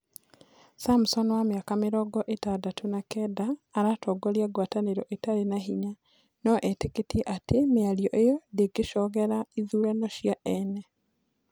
samson wa mĩaka mĩrongo ĩtandatũ na kenda aratongoria ngwatanĩro ĩtarĩ na hinya, no etĩkĩtie atĩ mĩario iyo ndĩngĩcogera ithurano cia ene